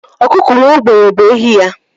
Ọkụkọ nwa ogbenye bụ ehi ya.